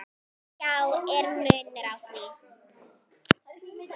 Já, er munur á því?